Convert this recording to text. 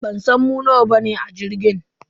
Bansan mu nawa bane a jirgin.